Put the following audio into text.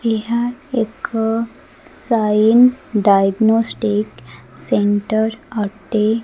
ଏହା ଏକ ସାଇନ୍ ଡାଇଗ୍ନୋଷ୍ଟିକ ସେଣ୍ଟର ଅଟେ।